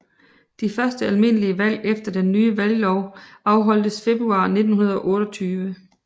De første almindelige valg efter den nye valglov afholdtes februar 1928